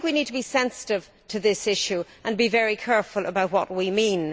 So I think we need to be sensitive to this issue and be very careful about what we mean.